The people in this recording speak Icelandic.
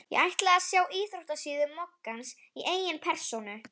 Ég ætla að sjá íþróttasíðu moggans í eigin persónu.